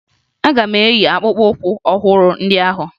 Aga m eyi akpụkpọụkwụ ọhụrụ ndị ahụ